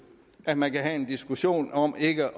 at man kan have en diskussion om ikke